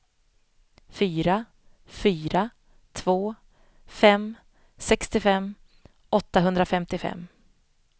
fyra fyra två fem sextiofem åttahundrafemtiofem